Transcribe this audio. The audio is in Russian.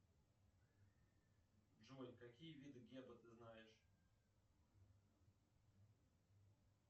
джой какие виды геба ты знаешь